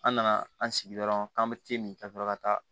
An nana an sigi dɔrɔn k'an be min ka sɔrɔ ka taa